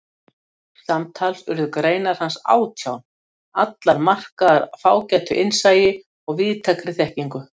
Samtals urðu greinar hans átján, allar markaðar fágætu innsæi og víðtækri þekkingu.